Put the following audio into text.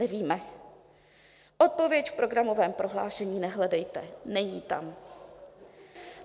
Nevíme, odpověď v programovém prohlášení nehledejte, není tam.